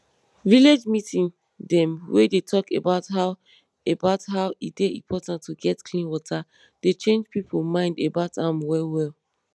village meeting dem wey dey talk about how about how e dey important to get clean water dey change pipo mind about am well well